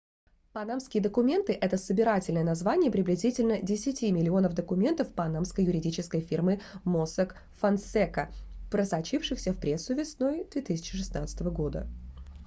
панамские документы - это собирательное название приблизительно десяти миллионов документов панамской юридической фирмы mossack fonseca просочившихся в прессу весной 2016 г